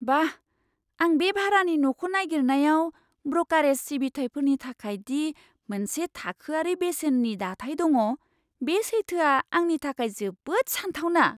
बाह! आं बे भारानि न'खौ नागिरनायाव ब्रकारेज सिबिथाइफोरनि थाखाय दि मोनसे थाखोआरि बेसेननि दाथाइ दङ, बे सैथोआ आंनि थाखाय जोबोद सानथावना!